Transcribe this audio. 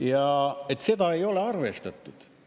Ja seda ei ole arvestatud.